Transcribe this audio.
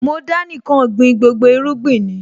Mo Dánì kàn gbin gbogbo irúgbìn ni